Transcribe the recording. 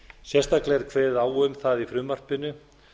sérstaklega er kveðið á um það í frumvarpinu